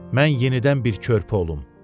Mən yenidən bir körpü olum.